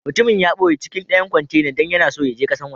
Mutumin ya boye cikin dayan kwantenan dan yana so ya je kasan woje.